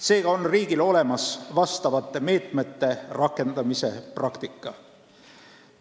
Seega on riigil vastavate meetmete rakendamise praktika olemas.